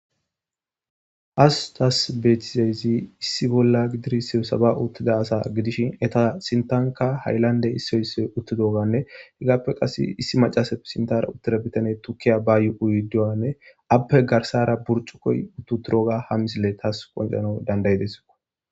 Hasutas beetizayzi issi bolla gidirisse saba uttida asa gidishin eta sintanka hayllande issoysse uttidoganne hegaappe qass issi macasaf sintara uttida bitane tukkiya bayu'uydiwanne appe garsara burcu koy uttu turoga ha misile taas qonjano dandayidesiko